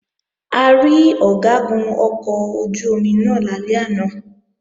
A rí Ọ̀gágun ọkọ̀ ojú-omi náà lálẹ́ àná